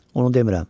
Onu demirəm.